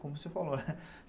Como você falou, né?